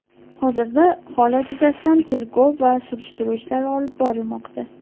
Hozirda holat yuzasidan tergov va surishtiruv ishlari olib borilmoqda.